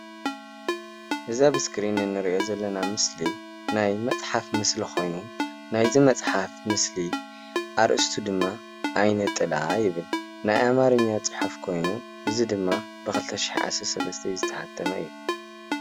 እዚ አብ እስክሪን እንሪኦ ዘለና ምስሊ ናይ መፅሓፍ ምስሊ ኮይኑ ናይ መፅሓፍ ምስሊ አርእስቱ ድማ ዓይነ ጥላ ይብል። ናይ አማርኛ ፅሑፍ ኮይኑ እዚ ድማ ብ 2013 ዓ.ም ዝተሓተመ እዩ።